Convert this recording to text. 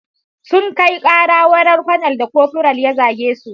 Sun kai ƙara wurin konel da kofural ya zage su.